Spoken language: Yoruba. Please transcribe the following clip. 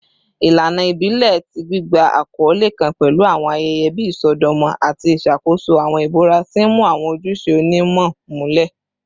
Ilana ibile ti gbigba akọle kan pẹlu awọn ayẹyẹ bii isọdọmọ ati iṣakoso awọn ibura, ti n mu awọn ojuṣe onimu mulẹ.